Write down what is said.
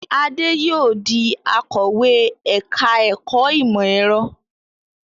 Adé yóò di akọ̀wé ẹ̀ka-ẹ̀kọ́ ìmọ̀-ẹ̀rọ.